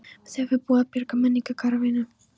Þegar var búið að bjarga menningararfinum.